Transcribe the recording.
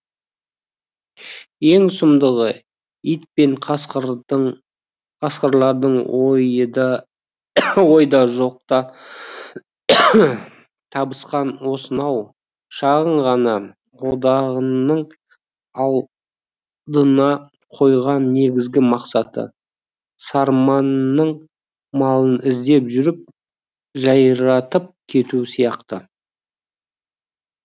ең сұмдығы ит пен қасқырлардың ойда жоқта табысқан осынау шағын ғана одағының алдына қойған негізгі мақсаты сарманың малын іздеп жүріп жайратып кету сияқты